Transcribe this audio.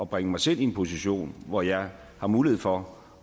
bringe mig selv i en position hvor jeg har mulighed for